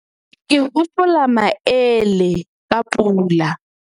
ke hopola maele ka pula